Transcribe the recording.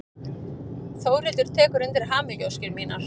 Þórhildur tekur undir hamingjuóskir mínar.